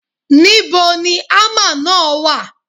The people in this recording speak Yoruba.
Níbo ni ámà náà wà?